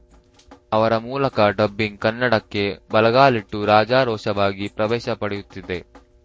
ಅವರ ಮೂಲಕ ಡಬ್ಬಿಂಗ್‌ ಕನ್ನಡಕ್ಕೆ ಬಲಗಾಲಿಟ್ಟು ರಾಜಾರೋಷವಾಗಿ ಪ್ರವೇಶ ಪಡೆಯುತ್ತಿದೆ